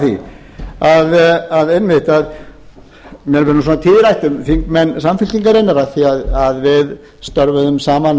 á því einmitt að mér verður svona tíðrætt um þingmenn samfylkingarinnar af því að við störfuðum saman